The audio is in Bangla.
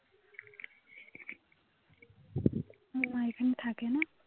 ওর মা এখানে থাকেনা